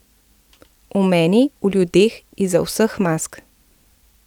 V meni, v ljudeh, izza vseh mask.